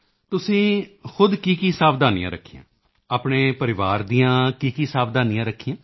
ਤੁਸੀਂ ਖੁਦ ਕੀਕੀ ਸਾਵਧਾਨੀਆਂ ਰੱਖੀਆਂ ਆਪਣੇ ਪਰਿਵਾਰ ਦੀਆਂ ਕੀ ਸਾਵਧਾਨੀਆਂ ਰੱਖੀਆਂ